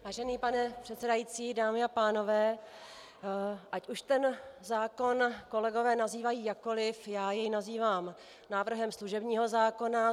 Vážený pane předsedající, dámy a pánové, ať už ten zákon kolegové nazývají jakkoli, já jej nazývám návrhem služebního zákona.